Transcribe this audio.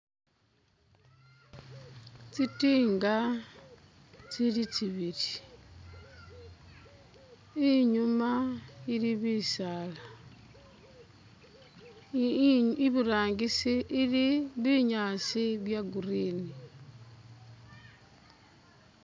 Tsi tinga tsili tsibili, inyuma ili bisaala, iburangisi ili binyaasi bya green.